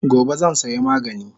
Gobe zan saya magani